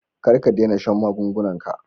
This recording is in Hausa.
Kar ka dena shan magungunan ka.